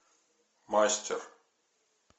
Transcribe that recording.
мастер